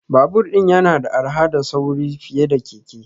Babur din yana da arha da sauri fiye da keke.